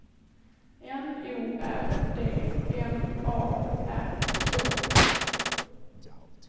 N O R D M A R K